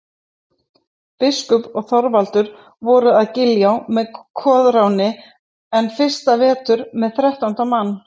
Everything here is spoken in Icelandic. Biskup og Þorvaldur voru að Giljá með Koðráni enn fyrsta vetur með þrettánda mann.